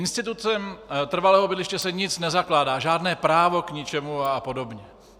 Institutem trvalého bydliště se nic nezakládá, žádné právo k ničemu a podobně.